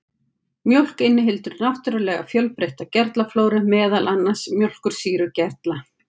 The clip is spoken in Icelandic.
Mjólk inniheldur náttúrulega fjölbreytta gerlaflóru, meðal annars mjólkursýrugerla.